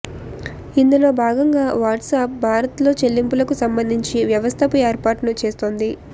ఇందులో భాగంగా వాట్సాప్ భారత్లో చెల్లింపులకు సంబంధించి వ్యవస్థపు ఏర్నాటు చేస్తోంది